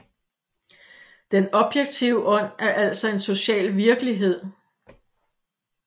Den objektive Ånd er altså en social virkelighed